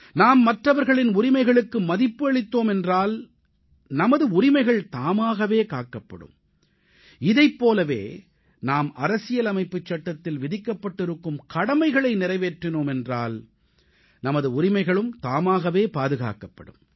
நாம் மற்றவர்களின் உரிமைகளுக்கு மதிப்பு அளித்தோம் என்றால் நமது உரிமைகள் தாமாகவே காக்கப்படும் இதைப் போலவே நாம் அரசியலமைப்புச் சட்டத்தில் விதிக்கப்பட்டிருக்கும் கடமைகளை நிறைவேற்றினோம் என்றால் நமது உரிமைகளும் தாமாகவே பாதுகாக்கப்படும்